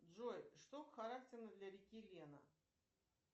джой что характерно для реки лена